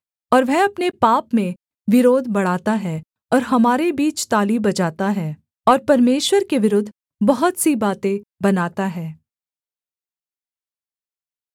और वह अपने पाप में विरोध बढ़ाता है और हमारे बीच ताली बजाता है और परमेश्वर के विरुद्ध बहुत सी बातें बनाता है